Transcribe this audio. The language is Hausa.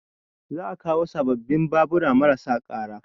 Za a kawo sababbin babura marasa ƙara